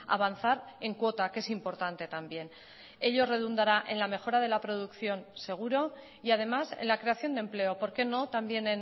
avanzar en cuota que es importante también ello redundará en la mejora de la producción seguro y además en la creación de empleo por qué no también